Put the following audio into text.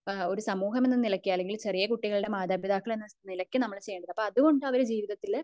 ഒരു സമൂഹം എന്ന നിലക്ക് അല്ലെങ്കിൽ ചെറിയ കുട്ടികൾ ടെ മാതാപിതാക്കൾ എന്ന നിലക്ക് നമ്മൾ ചെയ്യേണ്ടത് അപ്പോ അത്കൊണ്ട് അവർ ജീവിതത്തില്